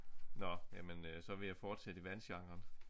Nåh jamen øh så vil jeg fortsætte i vandgenren